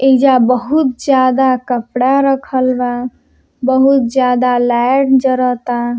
ऐजा बहुत ज्यादा कपड़ा रखल बा बहुत ज्यादा लाइट जरता।